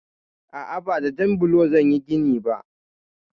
A'a, ba da jan blo zan yi gini ba.